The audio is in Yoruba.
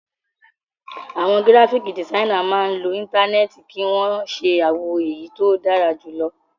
Àwọn gíráfíkì dìsainà máa ń lo Íńtánẹ́ẹ̀tì kí wọ́n ṣe àwọn èyí tó dára jù lọ.